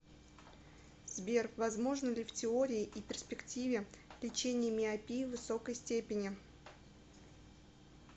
сбер возможно ли в теории и перспективе лечение миопии высокой степени